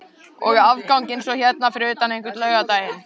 Og afganginn svo hérna fyrir utan einhvern laugardaginn?